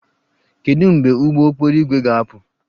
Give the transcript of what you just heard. Kedu mgbe ụgbọ okporo ígwè ga-apụ?